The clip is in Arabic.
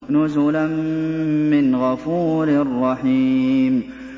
نُزُلًا مِّنْ غَفُورٍ رَّحِيمٍ